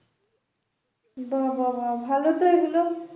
বা বা বা ভালো তো এগুলো